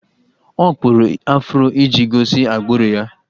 Ọ kpụrụ afro iji gosi agbụrụ ya